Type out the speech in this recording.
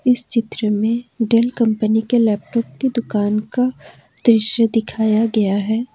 इस चित्र में डेल कंपनी के लैपटॉप की दुकान का दृश्य दिखाया गया है।